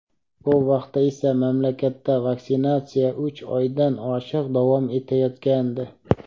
Bu vaqtda esa mamlakatda vaksinatsiya uch oydan oshiq davom etayotgandi.